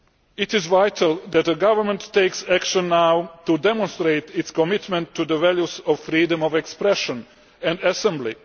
It is vital that the government takes action now to demonstrate its commitment to the values of freedom of expression and assembly.